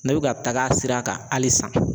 Ne bɛ ka taga sira kan hali sisan